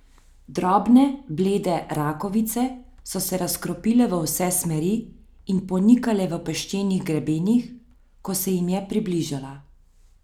Drobne blede rakovice so se razkropile v vse smeri in ponikale v peščenih grebenih, ko se jim je približala.